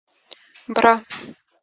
бра